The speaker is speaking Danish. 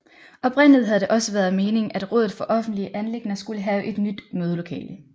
Oprindeligt havde det også været meningen at rådet for offentlige anliggender skulle have et nyt mødelokale